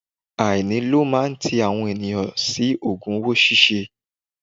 Àìní ló máa ń ti àwọn ènìyàn sí ogun owó ṣíṣe.